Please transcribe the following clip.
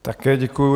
Také děkuji.